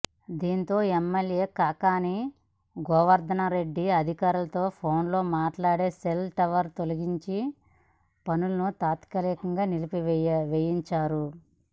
దీంతో ఎమ్మెల్యే కాకాణి గోవర్ధన్రెడ్డి అధికారులతో ఫోన్లో మాట్లాడి సెల్ టవర్ తొలగింపు పనులు తాత్కాలికంగా నిలిపి వేయించారు